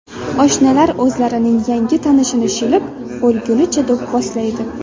Oshnalar o‘zlarining yangi tanishini shilib, o‘lgunicha do‘pposlaydi.